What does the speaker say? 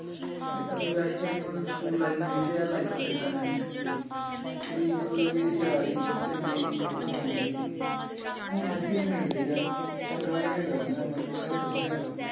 ਆਹੀ ਆ ਕਿ ਮਤਲਬ ਸਕੂਲ life ਮੇਰੀ ਤੇ ਇਹ life ਏਦਾਂ ਲੰਘੀ ਸਕੂਲ ਦੀ। ਬਈ ਮਤਲਬ ਜਿਹੜੀ ਯਾਰੀ ਚੰਗੀ ਸੀ, ਪ੍ਰਾ ਵਰਗੀ ਸੀ। ਹੁਣ ਅੱਜ ਵੀ ਮਿਲਦੇ ਆ ਚੰਗਾ behavior ਆ ਉਹਨਾਂ ਦਾ ਮਤਲਬ ਸਬ ਵਧੀਆ ਵਾ।